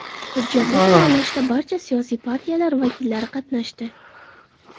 Hujjatni tayyorlashda barcha siyosiy partiyalar vakillari qatnashdi.